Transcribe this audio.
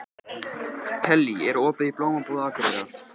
Kellý, er opið í Blómabúð Akureyrar?